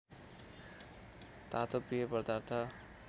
तातो पेय पदार्थ